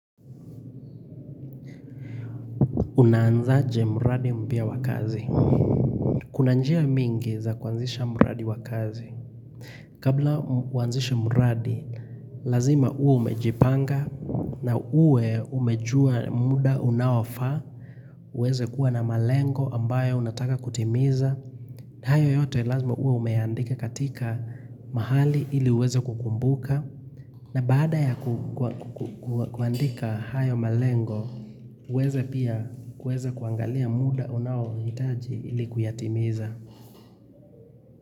Unaanzaje mradi mpya wa kazi? Kuna njia mingi za kuanzisha mradi wa kazi. Kabla kuanzisha mradi, lazima uwe umejipanga na uwe umejua muda unaofaa. Uweze kuwa na malengo ambayo unataka kutimiza. Na hayo yote lazima uwe umeandika katika mahali ili uweze kukumbuka. Na baada ya kuandika hayo malengo, uweze pia kuweza kuangalia muda unaohitaji ili kuyatimiza.